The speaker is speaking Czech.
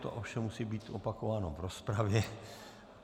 To ovšem musí být opakováno v rozpravě.